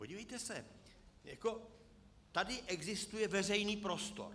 Podívejte se, tady existuje veřejný prostor.